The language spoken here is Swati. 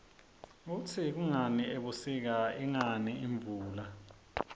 kutsi kungani ebusika ingani imvula